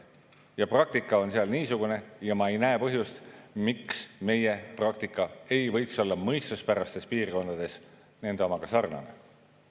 Ja praktika on seal niisugune ja ma ei näe põhjust, miks meie praktika ei võiks olla mõistuspärastes piirides nende omaga sarnane.